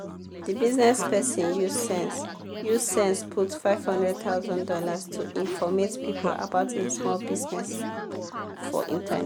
di bizness person use sense use sense put fifty thousand dollars0 to informate people about e small bizness for internet.